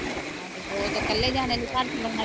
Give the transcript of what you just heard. ਹਣਾ ਹਾਂਜੀ ਓਹ ਤੇ ਇਕੱਲੇ ਜਣੇ ਲਈ ਘਰ ਚਲਾਉਣਾ